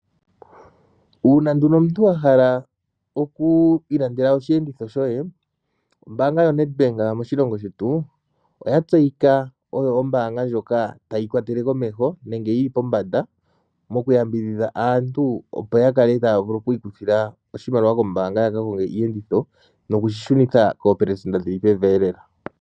Uuna nduno omuntu wa hala okuilandela oshihauto shoye ombaanga yoNedbank moshilongo shetu oya tseyika nawa oto ombaanga ndjoka hayi yambidhudha aantu yaka konge iiyenditho yo yeyi shunithe niiishoshela iishona lela.